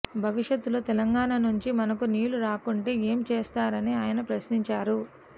భవిష్యత్తులో తెలంగాణ నుంచి మనకు నీళ్లు రాకుంటే ఏం చేస్తారని ఆయన ప్రశ్నించారు